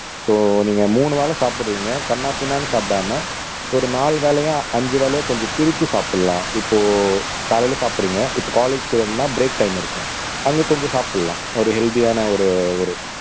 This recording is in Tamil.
சோ நீங்க மூணு வேளை சாப்பிடுறீங்க கன்னாபின்னான்னு சாப்பிடாம ஒரு நாலு வேளையா அஞ்சு வேளையா கொஞ்சம் பிரிச்சு சாப்பிடலாம் இப்போ காலையிலே சாப்பிடுறீங்க இப்போ காலேஜ் போனும்ன்னா பிரேக் டைம் இருக்கும் அங்கே கொஞ்சம் சாப்பிடலாம் ஒரு ஹெல்த்தியான ஒரு ஒரு